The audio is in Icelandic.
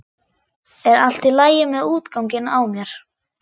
Er allt í lagi með útganginn á mér?